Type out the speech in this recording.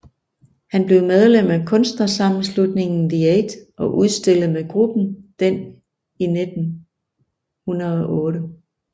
Han blev medlem af kunstnersammenslutningen The Eight og udstillede med gruppen den i 1908